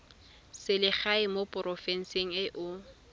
selegae mo porofenseng e o